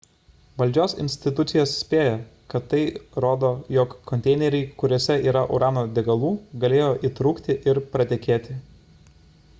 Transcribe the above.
valdžios institucijos spėja kad tai rodo jog konteineriai kuriuose yra urano degalų galėjo įtrūkti ir pratekėti